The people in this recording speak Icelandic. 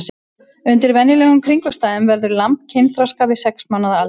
Undir venjulegum kringumstæðum verður lamb kynþroska við sex mánaða aldur.